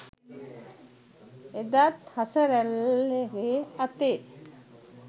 එදාත් හසරැල්ගෙ අතේ